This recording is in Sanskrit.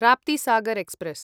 राप्तीसागर् एक्स्प्रेस्